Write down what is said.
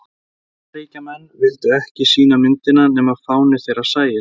bandaríkjamenn vildu ekki sýna myndina nema fáni þeirra sæist